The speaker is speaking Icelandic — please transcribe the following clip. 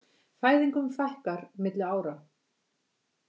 Fæðingum fækkar milli ára